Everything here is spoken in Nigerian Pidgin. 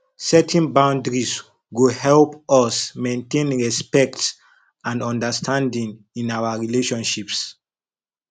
setting boundaries go help us maintain respect and understanding in our relationships